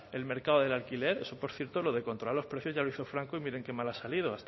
el mercado del alquiler eso por cierto lo de controlar los precios ya lo hizo franco y miren qué mal ha salido